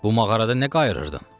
Bu mağarada nə qayırdın?